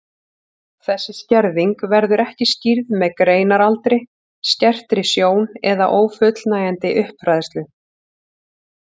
Þessi skerðing verður ekki skýrð með greindaraldri, skertri sjón eða ófullnægjandi uppfræðslu.